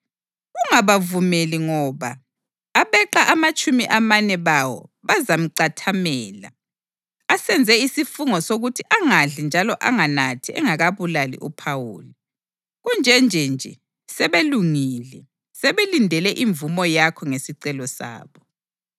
Ungabavumeli ngoba abeqa amatshumi amane bawo bazamcathamela. Asenze isifungo sokuthi angadli njalo anganathi engakabulali uPhawuli. Kunje nje sebelungile, sebelindele imvumo yakho ngesicelo sabo.”